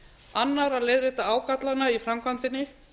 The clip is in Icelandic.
annar að leiðrétta ágallana í framkvæmdinni